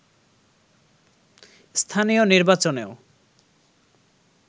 স্থানীয় নির্বাচনেও